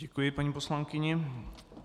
Děkuji paní poslankyni.